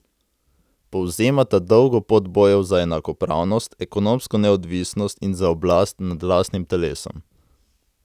Povzemata dolgo pot bojev za enakopravnost, ekonomsko neodvisnost in za oblast nad lastnim telesom.